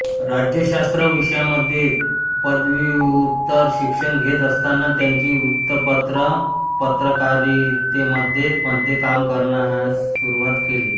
राज्यशास्त्र विषयामध्ये पदव्युत्तर शिक्षण घेत असताना त्यांनी वृत्तपत्र पत्रकारितेमध्ये मध्ये काम करण्यास सुरवात केली